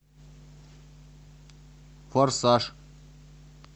форсаж